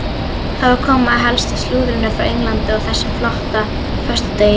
Þá er komið að helsta slúðrinu frá Englandi á þessum flotta föstudegi.